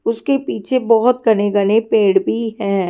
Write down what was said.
उसके पीछे बहुत घने-घने पेड़ भी हैं।